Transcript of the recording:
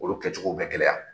Olu kɛcogow bɛ gɛlɛya.